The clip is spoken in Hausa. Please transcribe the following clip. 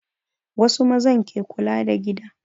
Wasu mazan ke kula da gida